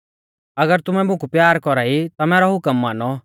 अगर तुमै मुकु प्यार कौरा ई ता मैरौ हुकम मानौ